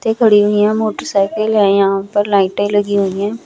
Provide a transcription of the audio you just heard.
ते पड़ी हुई हैं मोटरसाइकिल हैं यहां पर लाइटें लगी हुई हैं।